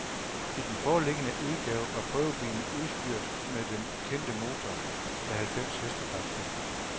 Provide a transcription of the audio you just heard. I den foreliggende udgave var prøvebilen udstyret med den kendte motor med halvfems hestekræfter.